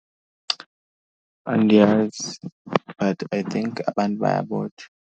Andiyazi but I think abantu bayabotshwa.